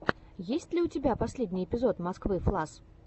есть ли у тебя последний эпизод москвы флас